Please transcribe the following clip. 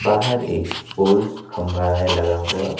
बाहर एक पोल खंभा है लगा हुआ।